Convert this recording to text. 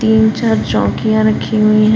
ईम चार चौंकियां रखी हुई हैं।